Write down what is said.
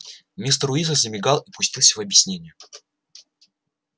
мистер уизли замигал и пустился в объяснения